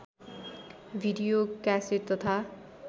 video cassette तथा